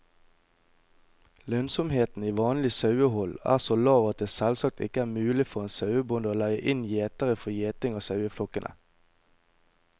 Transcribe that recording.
Lønnsomheten i vanlig sauehold er så lav at det selvsagt ikke er mulig for en sauebonde å leie inn gjetere for gjeting av saueflokkene.